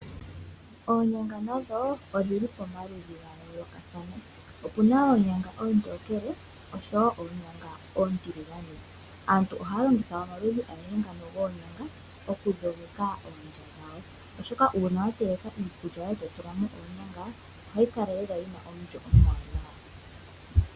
Onyanga nadho odhili pomaludhi ga yoolokathana, opuna oonyanga oontokele, oshowo oonyanga oontiligane. Aantu ohaya longitha omaludhi agehe ngano goonyanga okudhogeka oondya dhawo oshoka uuna wa teleka iikulya yoye eto tula mo oonyanga, ohayi kala lela yina omulyo omuwanawa.